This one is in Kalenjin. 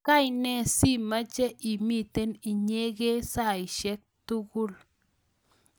kaine simache imiten inyegei saishek tugul?